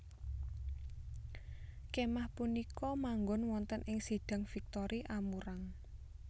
Kémah punika manggon wonten ing Sidang Victory Amurang